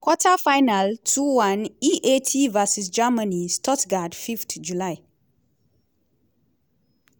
quarter-final two one aet vs germany (stuttgart fifth july)